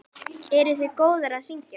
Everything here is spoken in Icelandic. Eruð þið góðar að syngja?